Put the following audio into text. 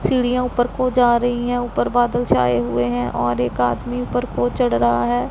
सीढ़िया ऊपर को जा रही हैं ऊपर बादल छाए हुए हैं और एक आदमी ऊपर को चढ़ रहा है।